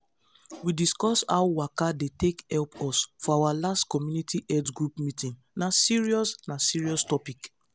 we discuss how waka dey take help us for our last community health group meeting na serious na serious topic.